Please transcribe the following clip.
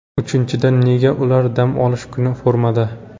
Uchinchidan, nega ular dam olish kuni formada?